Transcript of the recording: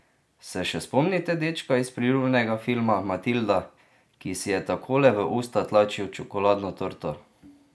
Se še spomnite dečka iz priljubljenega filma Matilda, ki si je takole v usta tlačil čokoladno torto?